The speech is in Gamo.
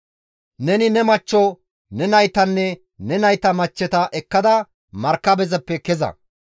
«Neni ne machcho, ne naytanne ne nayta machcheta ekkada markabezappe keza.